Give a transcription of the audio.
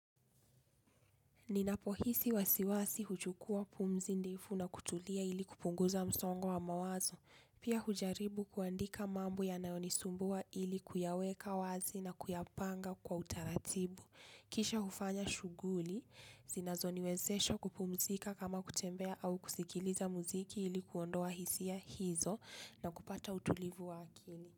Ninapohisi wasiwasi huchukua pumzi ndefu na kutulia ili kupunguza msongo wa mawazo. Pia hujaribu kuandika mambo yanayonisumbua ili kuyaweka wazi na kuyapanga kwa utaratibu. Kisha hufanya shughuli, zinazoniwezesha kupumzika kama kutembea au kusikiliza muziki ili kuondoa hisia hizo na kupata utulivu wa akili.